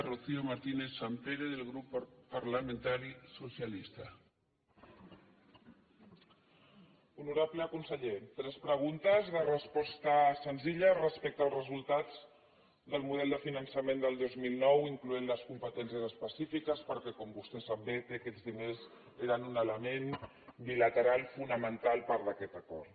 honorable conseller tres preguntes de resposta senzilla respecte al resultat del model de finançament del dos mil nou incloent hi les competències específiques perquè com vostè sap bé aquests diners eren un element bilateral fonamental per a aquest acord